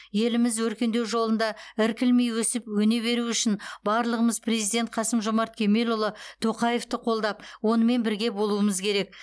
еліміз өркендеу жолында іркілмей өсіп өне беруі үшін барлығымыз президент қасым жомарт кемелұлы тоқаевты қолдап онымен бірге болуымыз керек